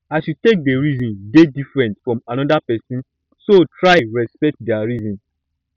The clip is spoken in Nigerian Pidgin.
as yu take dey reason dey diffrent from anoda pesin so try respekt dia reason